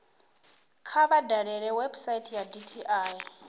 kha vha dalele website ya dti